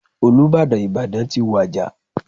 Olúbàdàn Ìbàdàn ti wàjà.